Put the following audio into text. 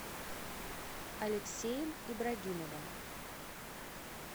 алексеем ибрагимовым